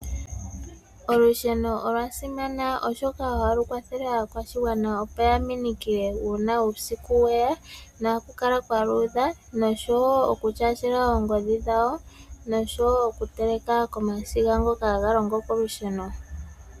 Olusheno olwa simana oshoka ohalu kwathele aakwashigwana opo ya minikile uuna uusiku weya. Ohaku kala kwa luudha nosho wo okutyaatyela oongodhi dhawo, nosho wo okuteleka komasiga ngoka haga longo kolusheno.